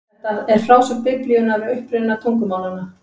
Þetta er frásögn Biblíunnar af uppruna tungumálanna.